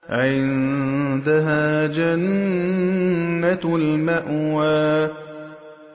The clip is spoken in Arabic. عِندَهَا جَنَّةُ الْمَأْوَىٰ